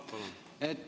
Palun!